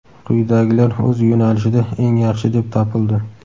quyidagilar o‘z yo‘nalishida "eng yaxshi" deb topildi:.